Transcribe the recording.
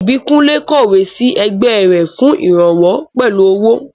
Ìbíkúnlé kọ̀wé sí ẹgbẹ́ rẹ̀ fún ìrànwọ́ pẹ̀lú owó